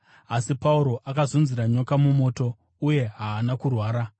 Asi Pauro akazunzira nyoka mumoto uye haana kurwara.